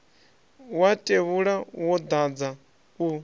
wa tevhula wo dadza u